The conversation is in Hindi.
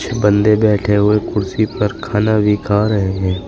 बंदे बैठे हुए कुर्सी पर खाना भी खा रहे हैं।